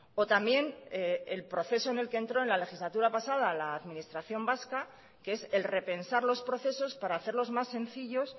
o también el proceso en el que entró en la legislatura pasada la administración vasca que es el repensar los procesos para hacerlos más sencillos